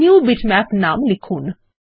new bitmap নাম লিখুন